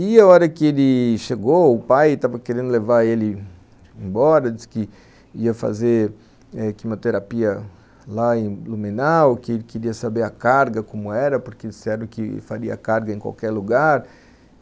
E a hora que ele chegou, o pai estava querendo levar ele embora, disse que ia fazer quimioterapia lá em Blumenau, que ele queria saber a carga, como era, porque disseram que faria carga em qualquer lugar.